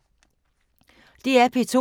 DR P2